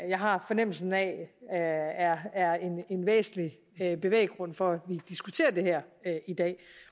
jeg har fornemmelsen af er er en væsentlig bevæggrund for at vi diskuterer det her i dag